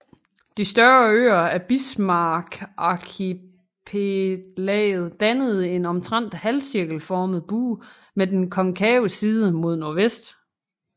De større øer af Bismarckarkipelaget dannede en omtrent halvcirkelformet bue med den konkave side mod nordvest